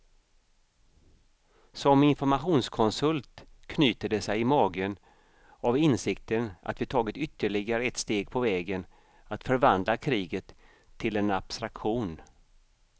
Som informationskonsult knyter det sig i magen av insikten att vi tagit ytterligare ett steg på vägen att förvandla kriget till en abstraktion.